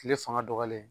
Kile fanga dɔgɔyalen